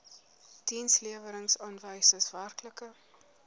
dienslewerings aanwysers werklike